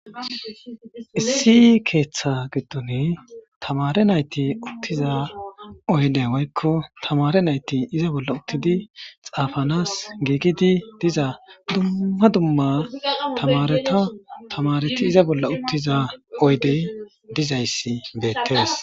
Issi keeththa giddoni tamaare nayti uttiza oyde woykko tamaare nayti iza bolla uttidi xaafanas giigidi diza dumma dumma tamaareta tamaareti iza bolla uttiza oydey dizayssi beettees.